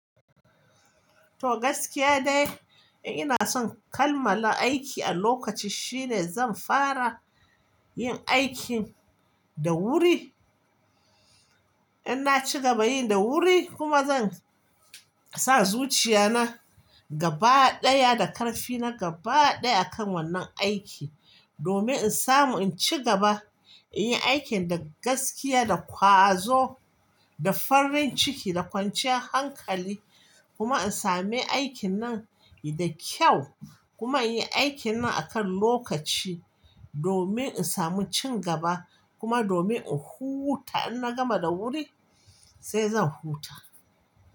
To gaskiya dai ina son kammala aiki a lokaci shine zan fara yin aikin da wuri. In na ci gaba yin da wuri kuma zan sa zuciya na gaba ɗaya da ƙarfi na gaba ɗaya akan wannan aiki domin in samu in ci gaba inyin aikin da gaskiya, da ƙwazo, da farin ciki, da kwanciyar hankali kuma in sami aikin nan da kyau kuma in yi aikin nan akan lokaci domin in samu cin gaba kuma domin in huta. In na gama da wuri sai zan huta.